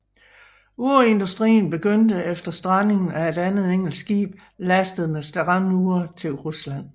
Urindustrien begyndte efter strandingen af et engelsk skib lastet med standure til Rusland